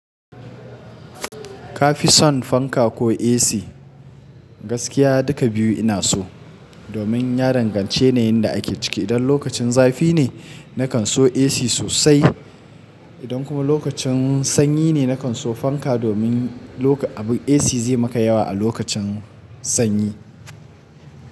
Ka fi son fanka ko AC? Gaskiya duka biyu ina so, domin ya danganci yanayin da ake ciki. Idan lokacin zafi ne, na kan so AC sosai, idan kuma lokacin sanyi ne, na kan so fanka domin abu AC zai maka yawa a lokacin sanyi.